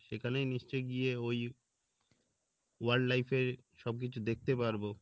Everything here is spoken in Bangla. সেখানেই নিশ্চয় গিয়ে ওই wildlife এ সব কিছু দেখতে পারবো